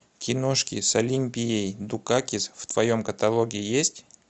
киношки с олимпией дукакис в твоем каталоге есть